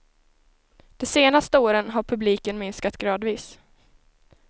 De senaste åren har publiken minskat gradvis.